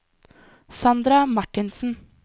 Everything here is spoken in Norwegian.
Sandra Marthinsen